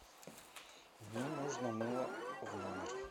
мне нужно мыло в номер